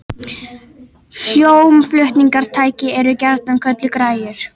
Hljómflutningstæki eru gjarnan kölluð græjur.